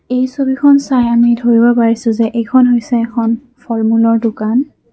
এই ছবিখন চাই আমি ধৰিব পৰিছোঁ যে এইখন হৈছে এখন ফল-মূলৰ দোকান।